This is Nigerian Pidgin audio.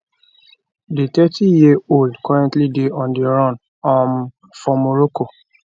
di 30yearold currently dey on di run um for morocco